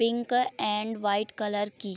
pink and white colour की --